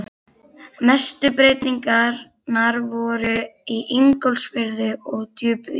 Mestu breytingarnar voru í Ingólfsfirði og Djúpuvík.